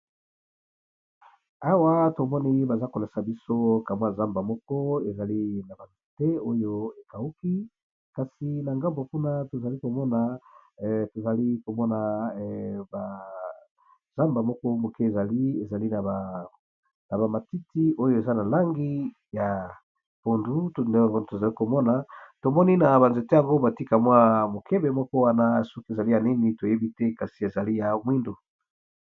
Awa tomoni baza kolesa biso kamwa zamba moko ezali na banzete oyo ekauki, kasi na ngambo kuna tozali komona, tozali komona bazamba moko moke zalieli na bamatiti oyo eza na langi ya pondu, tozali komona tomoni na banzete yango batikamwa mokebe moko wana soki ezali ya nini toyebi te kasi ezali ya omwindu